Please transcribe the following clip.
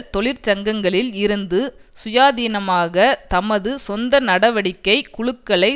தொழிற்சங்கங்களில் இருந்து சுயாதீனமாக தமது சொந்த நடவடிக்கை குழுக்களை